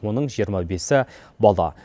оның жиырма бесі бала